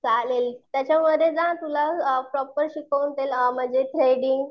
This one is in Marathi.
चालेल. त्याच्यामध्ये जा तुला आ प्रॉपर शिकवतील आ म्हणजे थ्रेडींग,